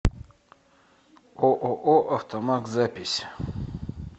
ооо автомаг запись